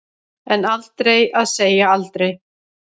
En aldrei að segja aldrei.